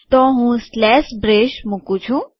તો હું slash braces મુકું છું